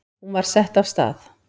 Hún var sett af stað.